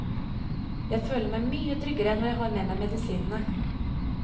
Jeg føler meg mye tryggere når jeg har med meg medisinene.